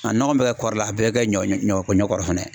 A nɔgɔ bɛ ka kɔrɔ la a bɛɛ bɛ kɛ ɲɔ ɲɔ ɲɔ kɔrɔ fana.